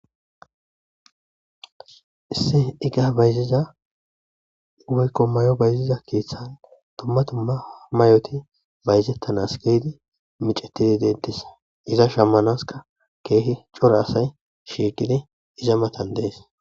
isse iga bayziza woykko mayo bayziza keeththan tumma tumma may7oti bayzettanas geydi micetidi dentisa iza shammanaska keehi cora asay shieqidi iza matan dees